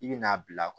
I bi n'a bila